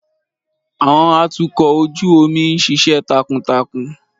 Àwọn atukọ̀ ojú omi ń ṣiṣẹ́ takuntakun.